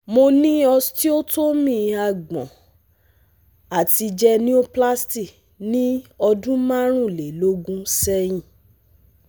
Mo ni osteotomy agbon ati genioplasty ni ọdun marunlelogun sẹhin